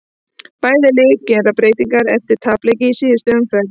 Bæði lið gera breytingar eftir tapleiki í síðustu umferð.